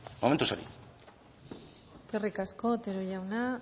eskerrik asko otero jauna